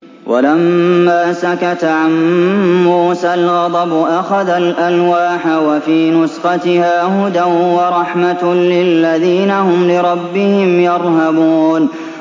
وَلَمَّا سَكَتَ عَن مُّوسَى الْغَضَبُ أَخَذَ الْأَلْوَاحَ ۖ وَفِي نُسْخَتِهَا هُدًى وَرَحْمَةٌ لِّلَّذِينَ هُمْ لِرَبِّهِمْ يَرْهَبُونَ